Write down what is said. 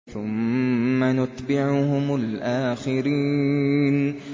ثُمَّ نُتْبِعُهُمُ الْآخِرِينَ